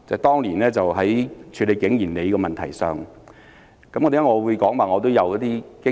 當年在處理景賢里的問題上，為何我會說我有經驗呢？